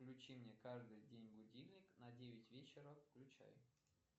включи мне каждый день будильник на девять вечера включай